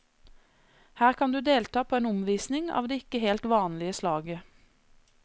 Her kan du delta på en omvisning av det ikke helt vanlige slaget.